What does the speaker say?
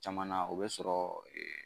Caman na o bɛ sɔrɔ